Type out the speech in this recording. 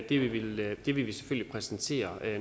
ii vil vi vi selvfølgelig præsentere